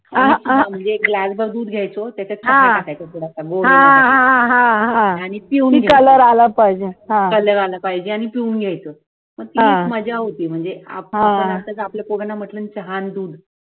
म्हणजे ग्लास भर दूध घेयचं त्याच्यात थोडाफार गोड गोड आनी पिवळी color आला पाहिजे color आला पाहिजे आनी पिऊन घेयचं, मग तीच मज्जा होती म्हणजे आपण आपण असतो तर आपल्या पोरांना म्हंटलं चहा आणि दूध